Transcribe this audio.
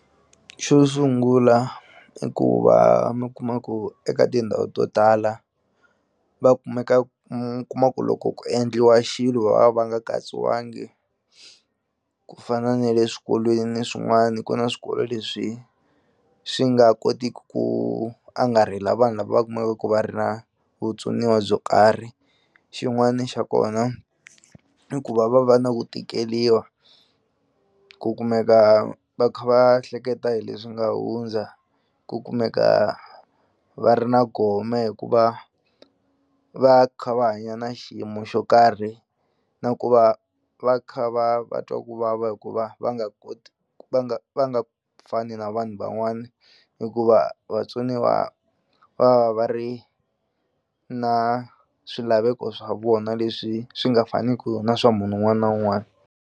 Xo sungula i ku va mi kuma ku eka tindhawu to tala va kumeka mu kuma ku loko ku endliwa xilo va va va nga katsiwangi ku fana na le swikolweni swin'wani ku na swikolo leswi swi nga kotiki ku angarhela vanhu lava kumekaku va ri na vutsoniwa byo karhi xin'wani xa kona i ku va va va na ku tikeliwa ku kumeka va kha va hleketa hi leswi nga hundza ku kumeka va ri na gome hikuva va kha va hanya na xiyimo xo karhi na ku va va kha va va twa ku vava hikuva va nga koti va nga va nga fani na vanhu van'wani hikuva vatsoniwa va va ri na swilaveko swa vona leswi swi nga faniku na swa munhu wun'wana na wun'wana.